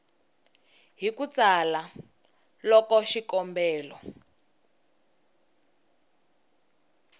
hi ku tsala loko xikombelo